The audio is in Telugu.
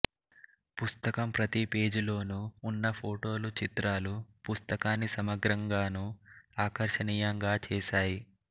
పుస్తకం ప్రతిపేజీలోనూ ఉన్న ఫొటొలు చిత్రాలు పుస్తకాన్ని సమగ్రంగానూ ఆకర్షణీయంగా చేశాయి